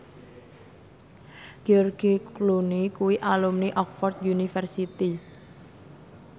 George Clooney kuwi alumni Oxford university